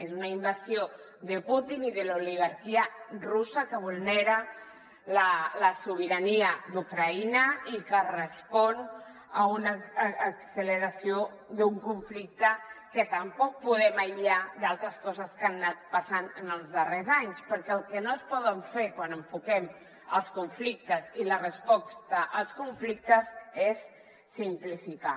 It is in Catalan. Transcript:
és una invasió de putin i de l’oligarquia russa que vul·nera la sobirania d’ucraïna i que respon a una acceleració d’un conflicte que tam·poc podem aïllar d’altres coses que han anat passant en els darrers anys perquè el que no es pot fer quan enfoquem els conflictes i la resposta als conflictes és sim·plificar